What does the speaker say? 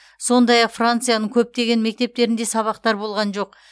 сондай ақ францияның көптеген мектептерінде сабақтар болған жоқ